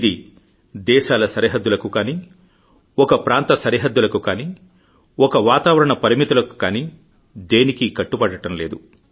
ఇది దేశాల సరిహద్దులకు కానీ ఒక ప్రాంత సరిహద్దులకు కానీ ఒక వాతావరణ పరిమితులకు కాని దేనికీ కట్టుబడటం లేదు